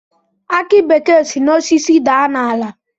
Aki bekee si n'osisi daa n'ala